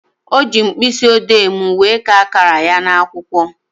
O ji mkpịsịodee m wee kaa akara ya n'akwụkwọ